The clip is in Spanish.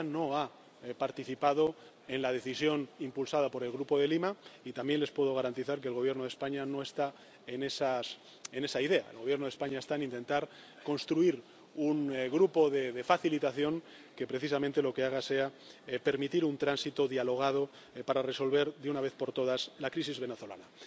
Francia no ha participado en la decisión impulsada por el Grupo de Lima, y también les puedo garantizar que el Gobierno de España no está en esa idea. El Gobierno España está intentando construir un grupo de facilitación que, precisamente, lo que haga sea permitir un tránsito dialogado para resolver, de una vez por todas, la crisis venezolana.